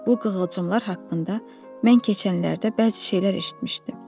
Bu qığılcımlar haqqında mən keçənlərdə bəzi şeylər eşitmişdim.